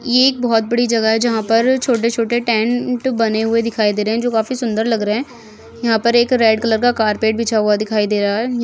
ये एक बहुत बड़ी जगह है जहा पर छोटे छोटे टेंट बने हुए दिखाई दे रहे है जो खाफी सुंदर लग रहे है यहाँ पर एक रेड कलर का कारपेट बिछा हुआ दिखाई दे रहा है।